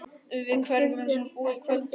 Við hverju megum við búast í kvöld og í nótt?